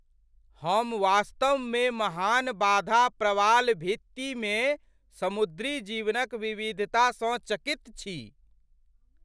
हम वास्तवमे महान बाधा प्रवाल भित्तिमे समुद्री जीवनक विविधतासँ चकित छी।